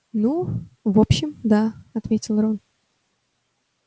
ну в общем да ответил рон